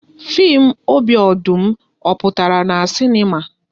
Fim "Obi Ọdụm", ọ pụtara na sinema?